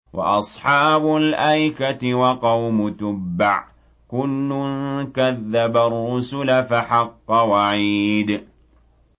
وَأَصْحَابُ الْأَيْكَةِ وَقَوْمُ تُبَّعٍ ۚ كُلٌّ كَذَّبَ الرُّسُلَ فَحَقَّ وَعِيدِ